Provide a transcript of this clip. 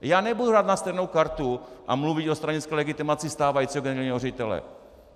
Já nebudu hrát na stejnou kartu a mluvit o stranické legitimaci stávajícího generálního ředitele.